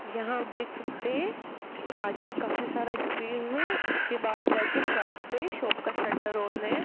यहां आप देख सकते हैं आगे काफी सारा स्पेस है उसके बाद जाके शॉप है शॉप का शटर आन है।